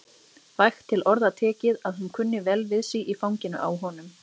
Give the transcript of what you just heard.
Vægt til orða tekið að hún kunni vel við sig í fanginu á honum.